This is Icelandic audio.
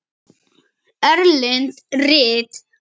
Erlend rit